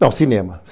Só, cinema.